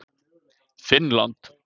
Finnland